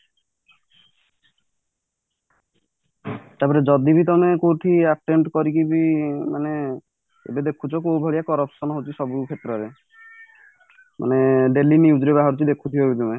ତ ଯଦିବି ତମେ କୋଉଠି attempt କରିକି ବି ମାନେ ଏବେ ଦେଖୁଛ କୋଉ ଭଳିଆ corruption ହଉଛି ସବୁ କ୍ଷେତ୍ରରେ ମାନେ daily news ରେ ବାହାରୁଛି ଦେଖୁଥିବ ବି ତମେ